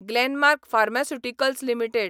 Glenmark pharmaceuticals limited